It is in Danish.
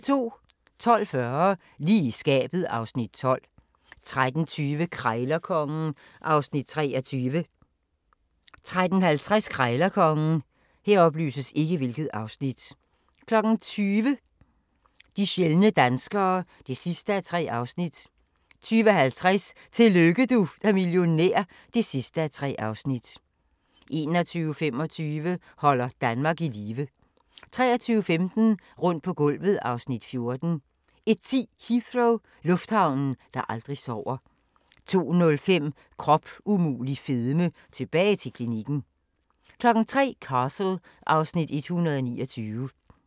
12:40: Lige i skabet (Afs. 12) 13:20: Krejlerkongen (Afs. 23) 13:50: Krejlerkongen 20:00: De sjældne danskere (3:3) 20:50: Tillykke du er millionær (3:3) 21:25: Holder Danmark i live 23:15: Rundt på gulvet (Afs. 14) 01:10: Heathrow - lufthavnen, der aldrig sover 02:05: Krop umulig fedme – tilbage til klinikken 03:00: Castle (Afs. 129)